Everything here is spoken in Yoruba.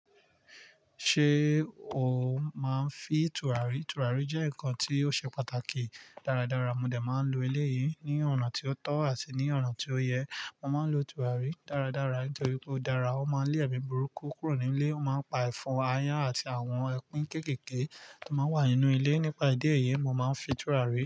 Ṣé o máa ń fi tùràrí? Tùràrí jẹ́ nǹkan tí ó ṣe pàtàkì dáradára. Mo dè máa ń lo ilé yìí ní ọ̀nà tí ó tọ́ àti ní ọ̀nà tí ó yẹ. Mo máa ń lo tùràrí dáradára nítorí ó dára, ó máa ń lé ẹmi burúkú kúrò ní ilé, ó máa ń pa ẹ̀fọn, ayan àti àwọn ẹkún kéékèèké tó máa ń wà nínú ilé. Nípa ìdí èyí, mo máa ń fi tùràrí.